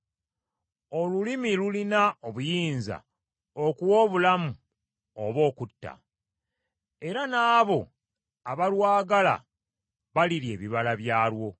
Olulimi lulina obuyinza okuwa obulamu oba okutta, era n’abo abalwagala balirya ebibala byalwo.